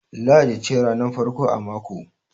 Lahadi ce ranar farko a mako